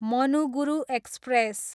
Manuguru express